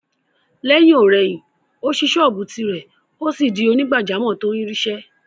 Lẹ́yìn-ò-rẹyìn, ó ṣí sọ́ọ̀bù tìrẹ, ó sì di onígbàjámọ̀ tó ń rí ṣe